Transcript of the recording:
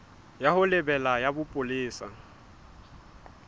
ya ho lebela ya bopolesa